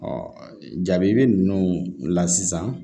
jaabi ninnu la sisan